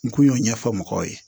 N kun y'o ɲɛfɔ mɔgɔw ye